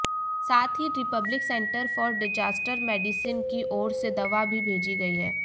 साथ ही republic centre for disaster medicine की ओर से दवा भी भेजी गई है